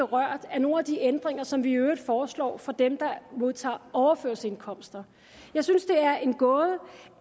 berørt af nogen af de ændringer som vi i øvrigt foreslår for dem der modtager overførselsindkomster jeg synes det er en gåde